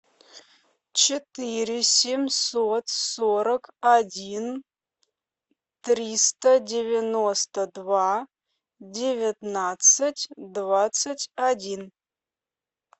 четыре семьсот сорок один триста девяносто два девятнадцать двадцать один